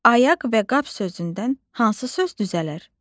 Ayaq və qap sözündən hansı söz düzələr?